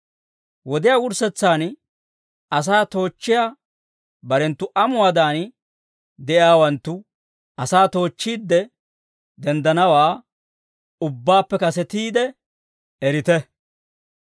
Wodiyaa wurssetsaan, asaa toochchiyaa barenttu amuwaadan de'iyaawanttu asaa toochchiidde denddanawaa ubbaappe kasetiide erite.